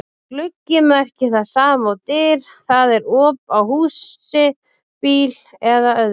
Orðið gluggi merkir það sama og dyr, það er op á húsi, bíl eða öðru.